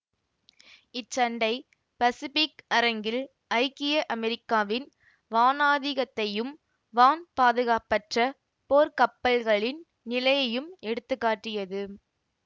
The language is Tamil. இச்சண்டை பசிபிக் அரங்கில் ஐக்கிய அமெரிக்காவின் வானாதிக்கதையும் வான் பாதுகாப்பற்ற போர்க்கப்பப்பல்களின் நிலையையும் எடுத்து காட்டியது